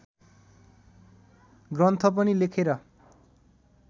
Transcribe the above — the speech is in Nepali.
ग्रन्थ पनि लेखेर